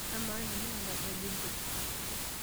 Amaa, namuka nampa aja inchop?